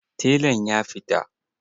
Telan ya fita.